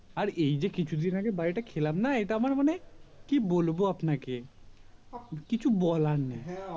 আর এই যে কিছুদিন আগে বারীটা খেলাম না এটা আমার মানে কি বলবো আপনাকে কিছু বলার নেই